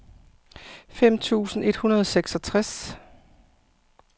fem tusind et hundrede og seksogtres